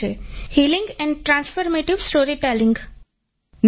healing and transformative storytelling |